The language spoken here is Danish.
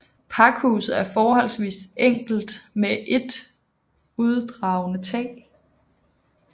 Pakhuset er forholdsvist enkelt med et udragende tag